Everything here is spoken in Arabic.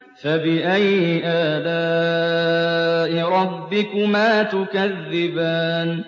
فَبِأَيِّ آلَاءِ رَبِّكُمَا تُكَذِّبَانِ